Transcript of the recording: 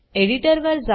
editor वर जा